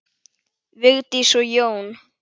Vigdís og Jón.